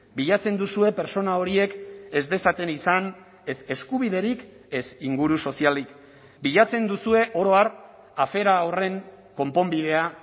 bilatzen duzue pertsona horiek ez dezaten izan ez eskubiderik ez inguru sozialik bilatzen duzue oro har afera horren konponbidea